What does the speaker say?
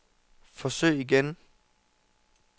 forsøg igen